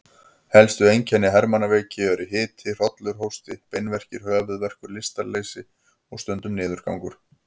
Helstu einkenni hermannaveiki eru hiti, hrollur, hósti, beinverkir, höfuðverkur, lystarleysi og stundum niðurgangur.